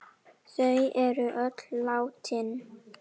Þau eru öll látin.